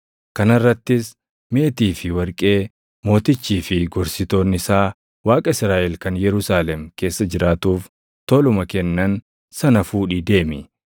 Kana irrattis meetii fi warqee mootichii fi gorsitoonni isaa Waaqa Israaʼel kan Yerusaalem keessa jiraatuuf toluma kennan sana fuudhii deemi;